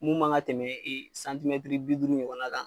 Mun man ka tɛmɛ bi duuru ɲɔgɔna kan.